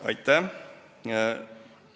Aitäh!